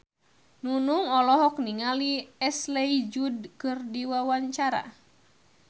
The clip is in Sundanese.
Nunung olohok ningali Ashley Judd keur diwawancara